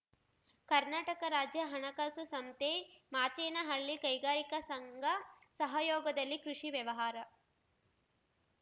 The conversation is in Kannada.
ಕರ್ನಾಟಕ ರಾಜ್ಯ ಹಣಕಾಸು ಸಂಸ್ಥೆ ಮಾಚೇನಹಳ್ಳಿ ಕೈಗಾರಿಕಾ ಸಂಘ ಸಹಯೋಗದಲ್ಲಿ ಕೃಷಿ ವ್ಯವಹಾರ